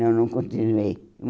Não, não continuei.